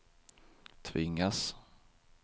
tvingas